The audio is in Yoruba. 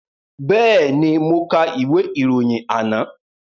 Bẹ́ẹ̀ni, mo ka ìwé ìròyìn àná